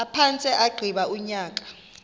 aphantse agqiba unyaka